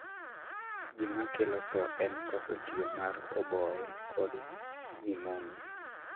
Gima kelo thoo en koso tiyo mar oboye kod pneumonia